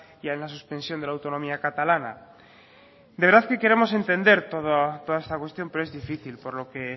ya en la suspensión de la autonomía catalana de verdad que queremos entender toda esta cuestión pero es difícil por lo que